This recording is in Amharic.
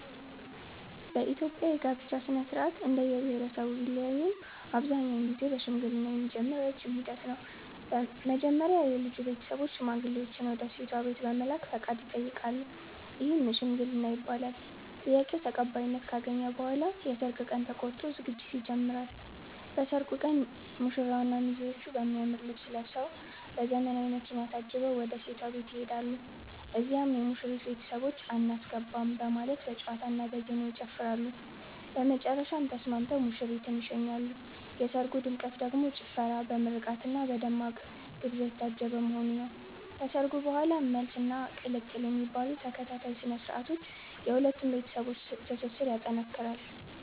በኢትዮጵያ የጋብቻ ሥነ-ሥርዓት እንደየብሄረሰቡ ቢለያይም አብዛኛውን ጊዜ በሽምግልና የሚጀምር ረጅም ሂደት ነው። መጀመሪያ የልጁ ቤተሰቦች ሽማግሌዎችን ወደ ሴቷ ቤት በመላክ ፈቃድ ይጠይቃሉ፤ ይህም "ሽምግልና" ይባላል። ጥያቄው ተቀባይነት ካገኘ በኋላ የሰርግ ቀን ተቆርጦ ዝግጅት ይጀምራል። በሰርጉ ቀን ሙሽራውና ሚዜዎቹ በሚያምር ልብስ ለብሰዉ፤ በዘመናዊ መኪና ታጅበው ወደ ሴቷ ቤት ይሄዳሉ። እዚያም የሙሽሪት ቤተሰቦች "አናስገባም " በማለት በጨዋታና በዜማ ይጨፍራሉ፤ በመጨረሻም ተስማምተው ሙሽሪትን ይሸኛሉ። የሰርጉ ድምቀት ደግሞ ጭፈራ፣ በምርቃትና በደማቅ ግብዣ የታጀበ መሆኑ ነው። ከሰርጉ በኋላም "መልስ" እና "ቅልቅል" የሚባሉ ተከታታይ ስነ-ስርዓቶች የሁለቱን ቤተሰቦች ትስስር ይጠነክራል።